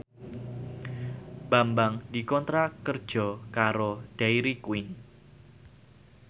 Bambang dikontrak kerja karo Dairy Queen